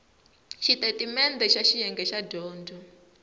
xitatimendhe xa xiyenge xa dyondzo